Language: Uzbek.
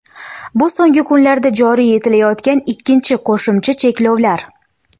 Bu so‘nggi kunlarda joriy etilayotgan ikkinchi qo‘shimcha cheklovlar.